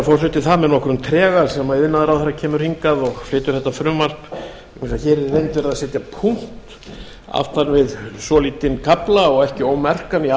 er með nokkrum trega sem iðnaðarráðherra kemur hingað og flytur þetta frumvarp vegna þess að hér er í reynd settur punktur aftan við svolítinn kafla og ekki ómerkan í